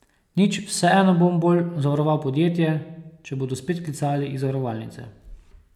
Nič, vseeno bom bolj zavaroval podjetje, če bodo spet klicali iz zavarovalnice.